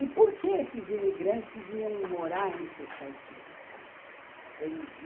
E por que esses imigrantes iam morar entre os caipiras, né? eles iam